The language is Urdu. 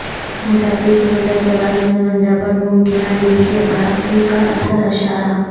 موٹاپے کے بجائے جوانی میں گنجا پن ممکنہ دل کے عارضے کا اصل اشارہ